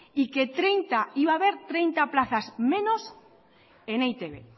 y que iba haber treinta plazas menos en e i te be